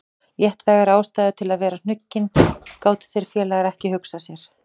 Léttvægari ástæðu til að vera hnuggin gátu þeir félagar ekki hugsað sér.